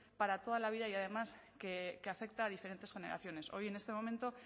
para toda la vida y además que afecta a diferentes generaciones hoy en este momento